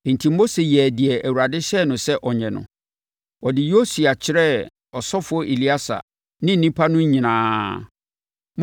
Enti, Mose yɛɛ deɛ Awurade hyɛɛ no sɛ ɔnyɛ no. Ɔde Yosua kyerɛɛ ɔsɔfoɔ Eleasa ne nnipa no nyinaa.